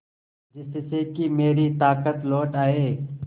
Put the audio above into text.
जिससे कि मेरी ताकत लौट आये